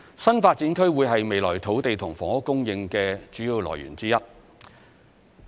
新發展區會是未來土地及房屋供應的主要來源之一。